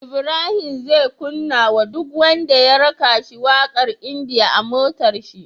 Ibrahim zai kunna wa duk wanda ya raka shi waƙar india a motar shi